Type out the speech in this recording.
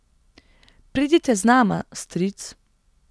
Pridite z nama, stric.